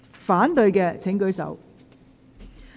反對的請舉手。